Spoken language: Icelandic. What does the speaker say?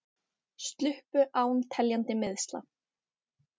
Sluppu án teljandi meiðsla